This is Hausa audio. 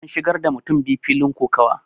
an shigar da mutum biyu filin kokawa